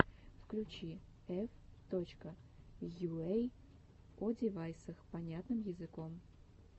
включи эф точка йуэй о девайсах понятным языком